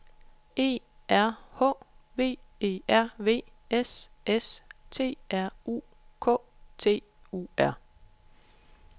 E R H V E R V S S T R U K T U R